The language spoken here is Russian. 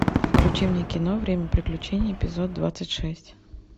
включи мне кино время приключений эпизод двадцать шесть